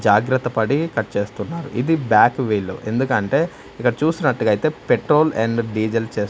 జాగ్రత్తపడి cut చేస్తున్నారు ఇది back wheel ఎందుకంటే ఇక్కడ చూసినట్టుగా ఐతే పెట్రోల్ ఆండ్ డీజిల్ చేస్--